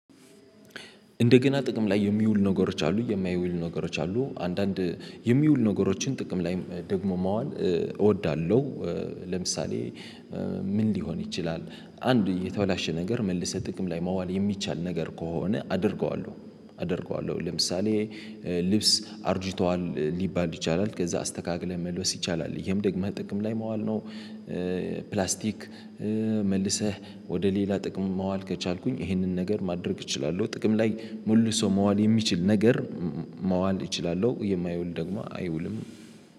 እንደገና ጥቅም ላይ የሚውሉ ነገሮች አሉ የማይውል ነገሮች አሉ አንዳንድ የሚውል ነገሮችን ጥቅም ላይ ደግሞ መዋል እወዳለሁ። ለምሳሌ ምን ሊሆን ይችላል? አንድ የተበላሸ ነገር መልሰህ ጥቅም ላይ መዋል የሚቻል ነገር ከሆነ አደርገዋለሁ። አደርገዋለሁ ለምሳሌ ልብስ አርጅቷል ሊባል ይችላል ከዛ አስተካክለህ መልበስ ይቻላል ይሄም ደግሞ መጠቀም ላይ መዋል ነው። ፕላስቲክ መልሰህ ወደ ሌላ ጥቅም መዋል ከቻልኩኝ ይሄንን ነገር ማድረግ እችላለሁ። ጥቅም ላይ ሙሉ ሰው መዋል የሚችል ነገር መዋል እችላለሁ የማይውል ደግሞ አይውልም።